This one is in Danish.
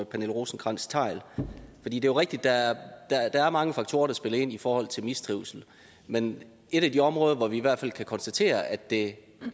pernille rosenkrantz theil det er jo rigtigt at der er mange faktorer der spiller ind i forhold til mistrivsel men et af de områder hvorpå vi i hvert fald kan konstatere at det